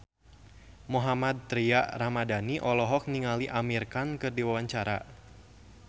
Mohammad Tria Ramadhani olohok ningali Amir Khan keur diwawancara